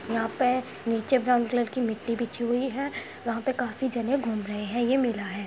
यहाँ पे नीचे ब्राउन कलर की मिट्टी बिछी हुई है। यहाँ पे काफी जने घूम रहे है। ये मेला है।